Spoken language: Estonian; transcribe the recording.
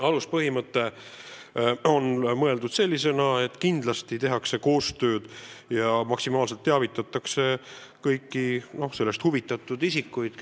Aluspõhimõte on selline, et kindlasti tehakse koostööd ja maksimaalselt teavitatakse kõiki huvitatud isikuid.